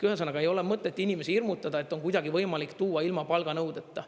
Ühesõnaga, ei ole mõtet inimesi hirmutada, et on kuidagi võimalik tuua ilma palganõudeta.